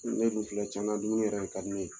Ne dun filɛ tiɲɛna dumuni yɛrɛ de ka di ne ye..